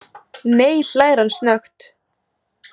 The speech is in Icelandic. Nei, hlær hann snöggt.